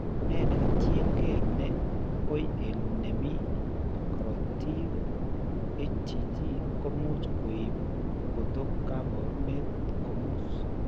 Ne ketyin ke ne koi eng' ne mi karotiik HTT ko much ko ib kotok kaabarunet komus.